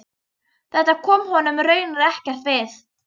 Þetta kom honum raunar ekkert við.